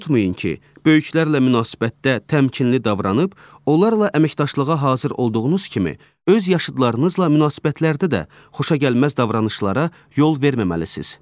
Unutmayın ki, böyüklərlə münasibətdə təmkinli davranıb onlarla əməkdaşlığa hazır olduğunuz kimi öz yaşıdlarınızla münasibətlərdə də xoşagəlməz davranışlara yol verməməlisiniz.